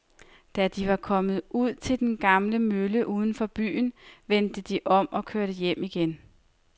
Da de var kommet ud til den gamle mølle uden for byen, vendte de om og kørte hjem igen.